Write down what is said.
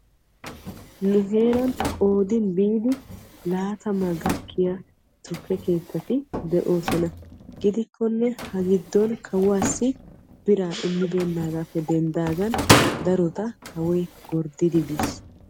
nu heeran qoodin biidi laattama gakkiya tukke keettati de'oosona, gidikkonne ha giddon kawuwassi biraa immibeenagappe denddaagan darota kawoy gorddidi biis.